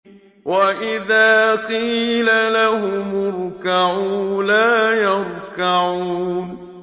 وَإِذَا قِيلَ لَهُمُ ارْكَعُوا لَا يَرْكَعُونَ